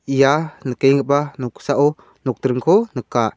ia nikenggipa noksao nokdringko nika.